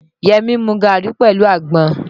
Yẹmí ń mu gàrí pẹ̀lú àgbọn.